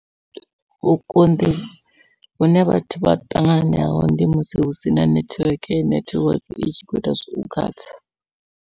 Vhukonḓi hune vhathu vha ṱangana naho ndi musi hu sina nethiweke nethiweke i tshi kho ita zwau khatha.